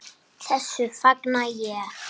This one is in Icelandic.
Þessu fagna ég.